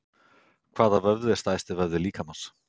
Hvaða vöðvi er stærsti vöðvi líkamans?